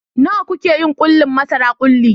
Nawa kuke yin ƙulli marasa kulli?